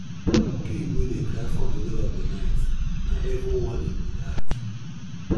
pig wey dey cry for middle of di night na evil warning be dat